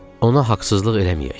Ona haqsızlıq eləməyək.